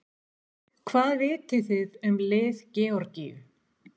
Hvað vitið þið um lið Georgíu?